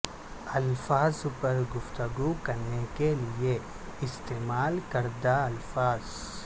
الفاظ پر گفتگو کرنے کے لئے استعمال کردہ الفاظ